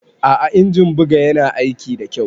A'a injin buga Yana aiki da kyau.